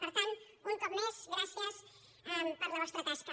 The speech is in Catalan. per tant un cop més gràcies per la vostra tasca